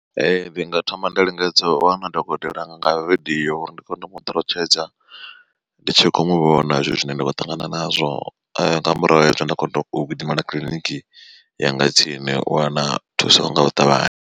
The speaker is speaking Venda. Ee ndi nga thoma nda lingedza u wana dokotela nga vidio uri ndi kone u muṱalutshedza ndi tshi kho muvhona zwithu zwine nda kho ṱangana nazwo nga murahu ha hezwo nda kona u gidimela kiḽiniki yanga tsini u wana thuso nga u ṱavhanya.